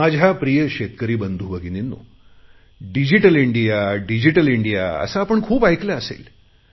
माझ्या प्रिय शेतकरी बंधुभगिनींनो डिजिटल इंडिया डिजिटल इंडिया असे आपण खूप ऐकले असेल